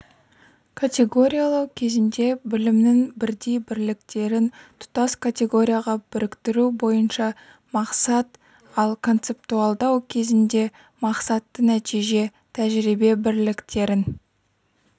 категориялау кезінде білімнің бірдей бірліктерін тұтас категорияға біріктіру бойынша мақсат ал концептуалдау кезінде мақсатты нәтиже тәжірибе бірліктерін